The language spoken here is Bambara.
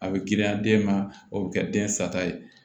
A bɛ girinya den ma o bɛ kɛ den sata ye